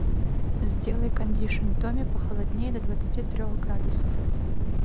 сделай кондишн в доме похолоднее до двадцати трех градусов